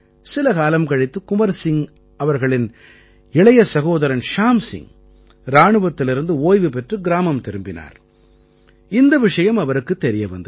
சில காலம் கழித்து குன்வர் சிங்கின் இளைய சகோதரன் ஷ்யாம் சிங் இராணுவத்திலிருந்து ஓய்வு பெற்று கிராமம் திரும்பினார் இந்த விஷயம் அவருக்குத் தெரிய வந்தது